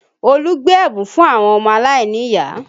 Olu gbé ẹ̀bùn fún àwọn ọmọ aláìníyàá